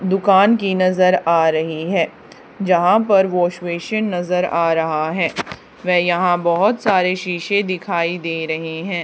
दुकान की नजर आ रही है यहां पर वॉश बेसिन नजर आ रहा है व यहां बहुत सारे शीशे दिखाई दे रहे हैं।